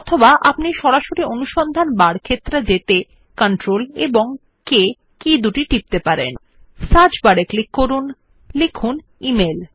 অথবা আপনি সরাসরি অনুসন্ধান বার ক্ষেত্র যেতে CTRL K টিপতে পারেন সার্চ বারে ক্লিক করুন এবং লিখুন ইমেইল